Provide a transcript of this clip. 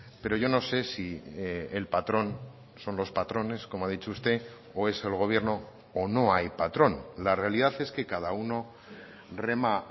pero yo no sé si el patrón son los patrones como ha dicho usted o es el gobierno o no hay patrón la realidad es que cada uno rema